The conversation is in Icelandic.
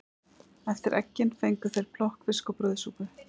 Eftir eggin fengu þeir plokkfisk og brauðsúpu.